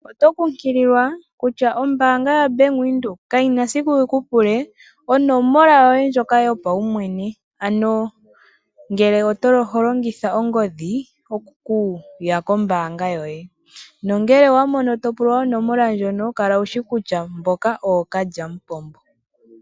Oto kunkililwa kutya ombaanga ya Bank Windhoek kayi na esiku yi ku pule onomola yoye ndjoka yopaumwene, ano ngele oho longitha ongodhi okuya kombaanga yoye. Nongele owa mono to pulwa onomola ndjono kala wu shi kutya mboka ookalyamupombo.